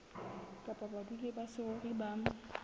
kapa badudi ba saruri ba